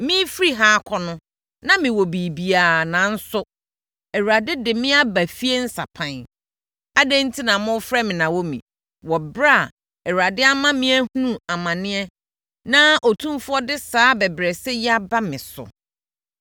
Merefiri ha akɔ no na mewɔ biribiara nanso, Awurade de me aba fie nsapan. Adɛn enti na mofrɛ me Naomi wɔ ɛberɛ a Awurade ama me ahunu amane na Otumfoɔ de saa abɛbrɛsɛ yi aba me so?”